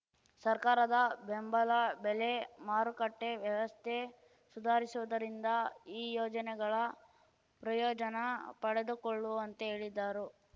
ಸರ್ಕಾರದ ಬೆಂಬಲ ಬೆಲೆ ಮಾರುಕಟ್ಟೆವ್ಯವಸ್ಥೆ ಸುಧಾರಿಸುವುದರಿಂದ ಈ ಯೋಜನೆಗಳ ಪ್ರಯೋಜನ ಪಡೆದುಕೊಳ್ಳುವಂತೆ ಹೇಳಿದರು